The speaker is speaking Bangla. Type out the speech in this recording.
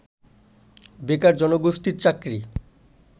বেকার জনগোষ্ঠীর চাকরি